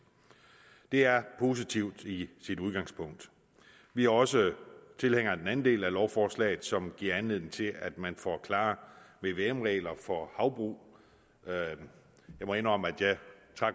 det er positivt i sit udgangspunkt vi er også tilhængere af den anden del af lovforslaget som giver anledning til at man får klare vvm regler for havbrug jeg må indrømme at jeg